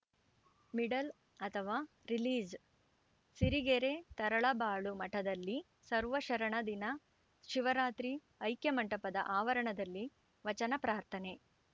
middle ಅಥವಾ ರಿಲೀಜ್‌ಸಿರಿಗೆರೆ ತರಳಬಾಳು ಮಠದಲ್ಲಿ ಸರ್ವಶರಣ ದಿನ ಶಿವರಾತ್ರಿ ಐಕ್ಯಮಂಟಪದ ಆವರಣದಲ್ಲಿ ವಚನ ಪ್ರಾರ್ಥನೆ